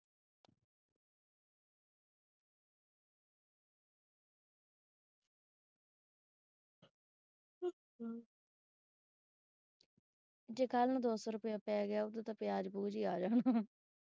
ਜੇ ਕੱਲ ਨੂੰ ਦੋ ਸੌ ਰੁਪਏ ਪੈ ਗਿਆ ਉਹਦਾ ਤਾਂ ਪਿਆਜ ਪੁਆਜ ਹੀ ਆ ਜਾਣਾ।